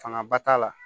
Fanga ba t'a la